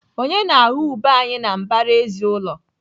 Onye na-aghọ ube anyị na mbaraezi ụlọ?